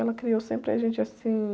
Ela criou sempre a gente assim...